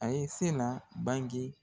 A ye se na banke